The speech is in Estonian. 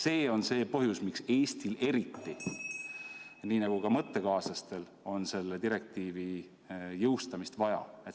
See on see põhjus, miks Eestil, nii nagu ka meie mõttekaaslastel, on selle direktiivi jõustamist vaja.